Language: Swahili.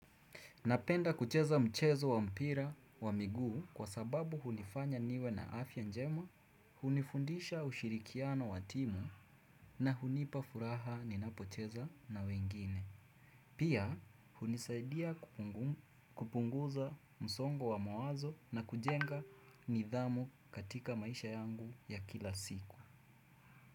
Napenda kucheza mchezo wa mpira wa miguu kwa sababu hunifanya niwe na afya njema, hunifundisha ushirikiano wa timu na hunipa furaha ninapocheza na wengine. Pia, hunisaidia kupunguza msongo wa mawazo na kujenga nidhamu katika maisha yangu ya kila siku.